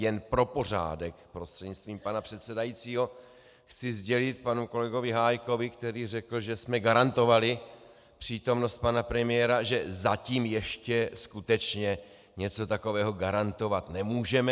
Jen pro pořádek, prostřednictvím pana předsedajícího, chci sdělit panu kolegovi Hájkovi, který řekl, že jsme garantovali přítomnost pana premiéra, že zatím ještě skutečně něco takového garantovat nemůžeme.